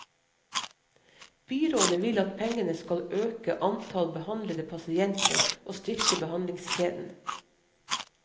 Byrådet vil at pengene skal øke antall behandlede pasienter og styrke behandlingskjeden.